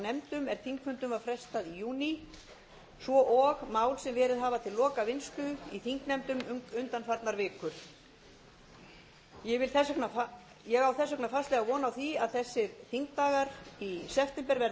þingfundum var frestað í júní svo og mál sem verið hafa til lokavinnslu í þingnefndum undanfarnar vikur ég á þess vegna fastlega von á því að þessir þingdagar í september verði